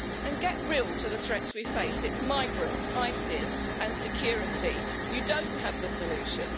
And get real to the threats we face it is migrants, ISIS and security. You do not have the solutions.